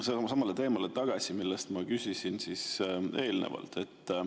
Ma tulen sama teema juurde tagasi, mille kohta ma eelnevalt küsisin.